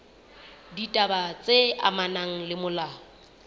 ditaba tse amanang le molao